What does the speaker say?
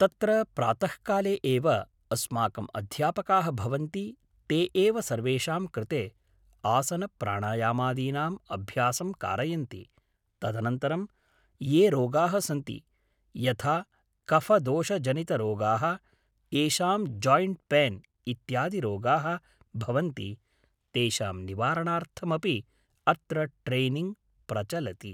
तत्र प्रातःकाले एव अस्माकम् अध्यापकाः भवन्ति ते एव सर्वेषां कृते आसनप्राणायामादीनाम् अभ्यासं कारयन्ति तदनन्तरं ये रोगाः सन्ति यथा कफदोषजनितरोगाः येषां जायिण्ट् पेन् इत्यादिरोगाः भवन्ति तेषां निवारणार्थमपि अत्र ट्रेनिङ्ग् प्रचलति